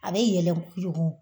A be yɛlɛ kojugu